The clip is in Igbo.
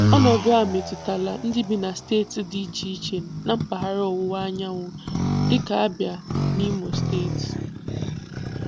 Ọnọdụ a emetụtala ndị bi na steeti dị iche iche na mpagahara Ọwụwa Anyanwụ dịka Abịa na Imo steeti.